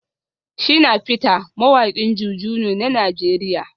Shina peter mawakin JuJu ne na Najeriya